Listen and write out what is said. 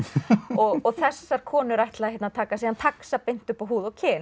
og þessar konur ætla að taka taxa beint upp á húð og kyn